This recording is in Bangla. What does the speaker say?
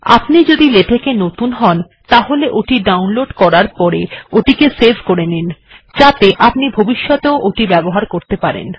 আপনি যদি লেটেক্ এ নতুন হন তাহলে এটি ডাউনলোড হবার পরে এটিকে সেভ্ করে নিন যাতে আপনি এটিকে ভবিষ্যতেও ব্যবহার করতে পারেন